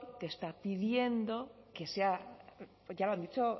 que está pidiendo que se ya lo ha dicho